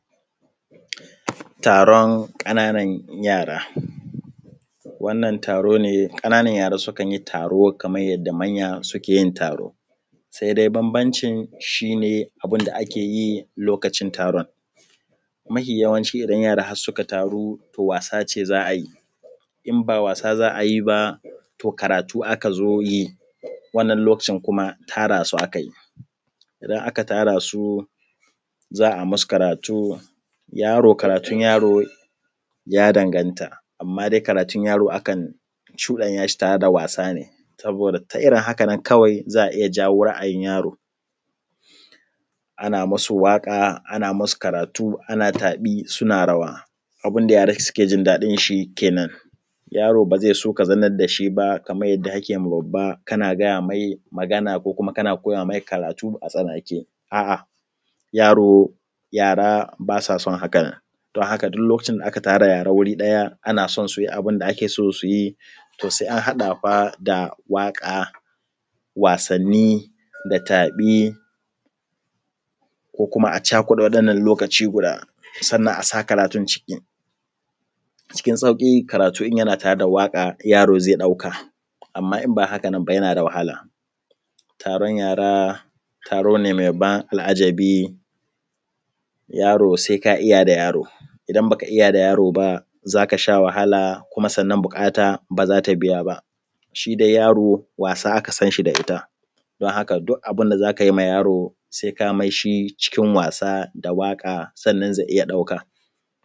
Taron ƙana nan yara. Wannan taro ne ƙana nan yara sukan yi taro kamar yadda manya suke yin taro, sai dai bambamcin shi ne abinda ake yi lokacin taron. Mahi yawanci idan yara suka taru to wasa ce za a yi, im ba wasa za a yi ba to karatu aka zo yi, wannan lokacin kuma tara su akayi, idan aka tarasu za ai musu karatu yaro karatun yaro ya danganta, amma dai karatun yaro akan cuɗanya shi tare da wasa ne, saboda ta irin haka nan kawai za a iya jawo ra’ayin yaro, ana musu waka ana musu karatu ana tafi suna rawa, abinda yara suke jin daɗin shi kenen, yaro ba zai so ka zanna dashi ba kamar yadda akema babba kana gaya mai magana, ki kuma kana koya mai karatu a tsanake, a’a yaro, yara basa son haka nan, don haka duk lokacin da aka tara yara wuri daya ana son su yi abinda ake so su yi to sai an haɗa fa da waka, wasanni da tabi, ko kuma a cakuɗa waɗan nan lokaci guda sannan asa karatun ciki, cikin sauki karatu in yana tare da waka yaro zai ɗauka, amma in ba haka nan ba yana da wahala. Taron yara, taro ne mai ban al’ajabi, yaro sai ka iya da yaro, idan baka iya da yaro ba zaka sha wahala kuma buƙata baza ta biya ba. Shi dai yaro wasa aka san shi da ita, don haka duk abinda za kai ma yaro sai kai mai shi cikin was da waƙa sannan zai iya ɗauka.